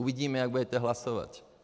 Uvidíme, jak budete hlasovat.